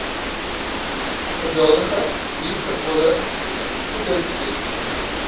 geduldige liefdevolle voedingsessies